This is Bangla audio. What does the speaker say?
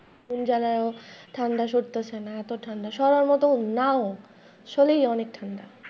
যারা ঠান্ডা সরতেছে না এত ঠান্ডা সরার মত নাওো আসলেই অনেক ঠান্ডা।